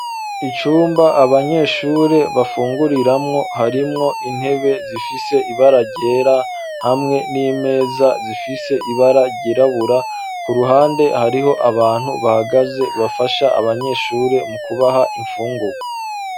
Icumba abanyeshure bafunguriramwo harimwo intebe zifise ibara ryera hamwe n'imeza zifise ibara ryirabura, ku ruhande hariho abantu bahagaze bafasha abanyeshure mu kubaha imfungugwa.